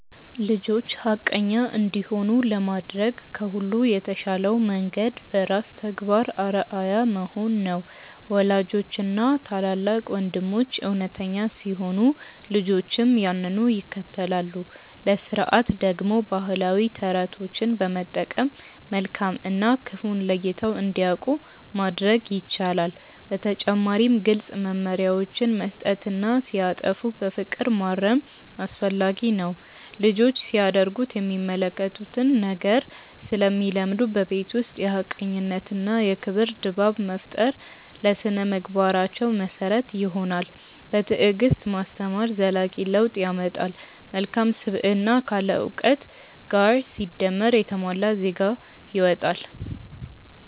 ልጆች ሐቀኛ እንዲሆኑ ለማድረግ ከሁሉ የተሻለው መንገድ በራስ ተግባር አርአያ መሆን ነው። ወላጆችና ታላላቅ ወንድሞች እውነተኛ ሲሆኑ ልጆችም ያንኑ ይከተላሉ። ለሥርዓት ደግሞ ባህላዊ ተረቶችን በመጠቀም መልካም እና ክፉን ለይተው እንዲያውቁ ማድረግ ይቻላል። በተጨማሪም ግልጽ መመሪያዎችን መስጠትና ሲያጠፉ በፍቅር ማረም አስፈላጊ ነው። ልጆች ሲያደርጉት የሚመለከቱትን ነገር ስለሚለምዱ፣ በቤት ውስጥ የሐቀኝነትና የክብር ድባብ መፍጠር ለሥነ-ምግባራቸው መሰረት ይሆናል። በትዕግስት ማስተማር ዘላቂ ለውጥ ያመጣል። መልካም ስብዕና ካለ እውቀት ጋር ሲደመር የተሟላ ዜጋ ይወጣል።